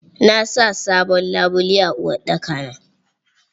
Na sa sabon labule a uwarɗaki na.